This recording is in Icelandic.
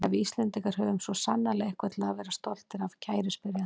Já, við Íslendingar höfum svo sannarlega eitthvað til að vera stoltir af, kæri spyrjandi.